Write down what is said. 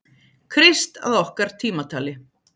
Krist að okkar tímatali.